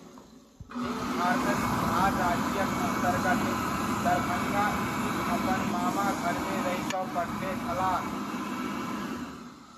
सिंह भारतक बिहार राज्यक अन्तर्गत दरभङ्गा स्थित अपन मामाघरमे रहि कऽ पढ़ने छलाह।